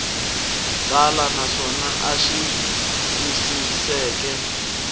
tala naswona a xi twisiseki